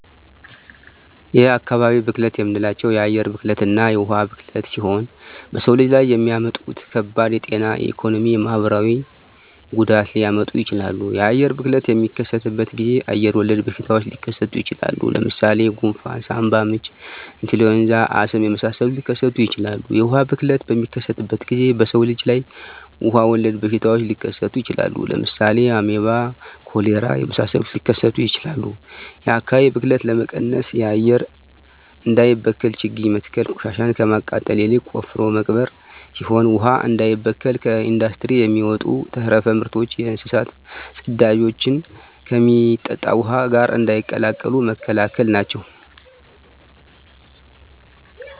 የአካባቢ ብክለት የምንላቸው የአየር ብክለትና የውሀ ብክለት ሲሆኑ በሰው ልጅ ላይ የሚያመጡት ከባድ የጤና የኢኮኖሚ የማህበራዊ ጉዳት ሊያመጡ ይችላሉ። የአየር ብክለት በሚከሰትበት ጊዜ አየር ወለድ በሽታዎች ሊከሰቱ ይችላል። ለምሳሌ ጉንፍን ሳምባምች ኢንፍሉዌንዛ አስም የመሳሰሉትን ሊከሰቱ ይችላሉ። የውሀ ብክለት በሚከሰትበት ጊዜ በሰው ልጅ ላይ ውሀ ወለድ በሽታዎች ሊከሰቱ ይችላሉ። ለምሳሌ አሜባ ኮሌራ የመሳሰሉት ሊከሰቱ ይችላሉ። የአካባቢ ብክለት ለመቀነስ አየር እንዳይበከል ችግኝ መትከል ቆሻሻን ከማቃጠል ይልቅ ቆፍሮ መቅበር ሲሆን ውሀ እንዳይበከል ከኢንዱስትሪ የሚወጡ ተረፈ ምርቶችና የእንስሳት ፅዳጅን ከሚጠጣ ውሀ ጋር እንዳይቀላቀሉ መከላከል ናቸው።